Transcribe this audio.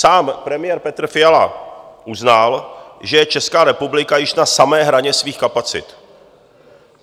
Sám premiér Petr Fiala uznal, že je Česká republika již na samé hraně svých kapacit.